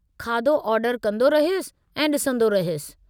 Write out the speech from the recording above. खाधो ऑर्डर कंदो रहियुसि ऐं ॾिसंदो रहियुसि।